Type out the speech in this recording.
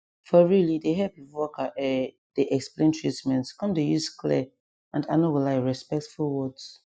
for real e dey help if worker um dey explain treatment come dey use clear and i no go lie respectful words